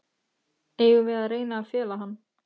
Eigum við að reyna að fela hann?